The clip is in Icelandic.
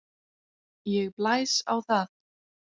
Ég blæs á það.